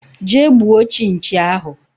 Jee gbuo chinchi ahụ!!!